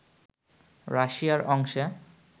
রাশিয়ার অংশে